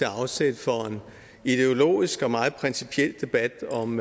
afsæt for en ideologisk og meget principiel debat om